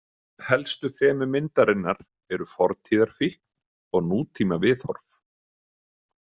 Helstu þemu myndarinnar eru fortíðarfíkn og nútímaviðhorf.